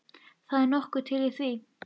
Það er nokkuð til í því.